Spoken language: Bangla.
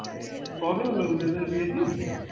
কবে হলো উদয় দার বিয়ে ঠিক